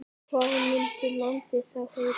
Hvað myndi landið þá heita?